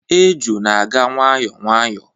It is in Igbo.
Eju na-aga nwayọọ nwayọọ